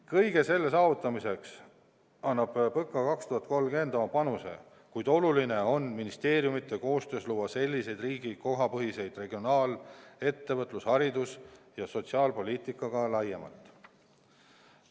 Kõige selle saavutamiseks annab PõKa 2030 oma panuse, kuid oluline on ministeeriumide koostöös luua seoseid riigi kohapõhise regionaal-, ettevõtlus-, haridus- ja sotsiaalpoliitikaga laiemalt.